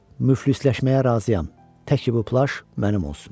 Müflisləşməyə razıyam, təki bu plaş mənim olsun.